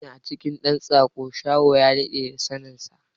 Ko meye a cikin dan tsako, shaho ya dade da saninsa.